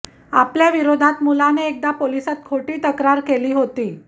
आपल्याविरोधात मुलाने एकदा पोलिसात खोटी तक्रार केली होती